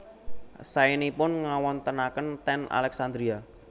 Saenipun ngawontenaken ten Alexandria